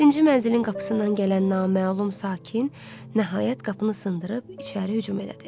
Yeddinci mənzilin qapısından gələn naməlum sakin, nəhayət qapını sındırıb içəri hücum elədi.